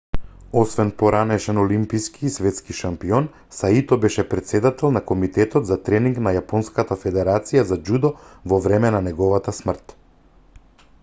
освен поранешен олимиски и светски шампион саито беше претседател на комитетот за тренинг на јапонската федерација за џудо во време на неговата смрт